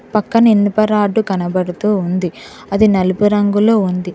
పక్కన ఎన్ని ప రాడు కనబడుతూ ఉంది అది నలుపు రంగులో ఉంది.